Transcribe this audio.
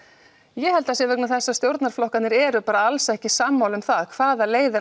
ég held að það sé vegna þess að stjórnarflokkarnir eru bara alls ekki sammála um hvaða leið